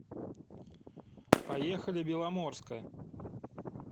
поехали беломорская